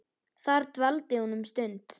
Þar dvaldi hún um stund.